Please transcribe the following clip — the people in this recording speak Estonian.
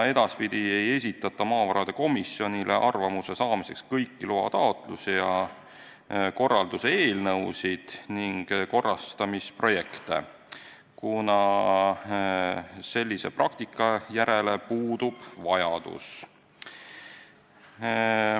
Edaspidi ei esitata maavarade komisjonile arvamuse saamiseks kõiki loataotlusi ja korralduse eelnõusid ning korrastamisprojekte, kuna sellise praktika järele puudub vajadus.